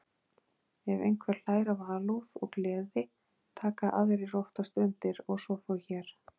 Ef einhver hlær af alúð og gleði, taka aðrir oftast undir og svo fór hér.